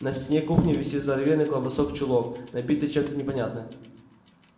на стене кухни висит здоровенный колбасок в чулок набитый чем-то непонятным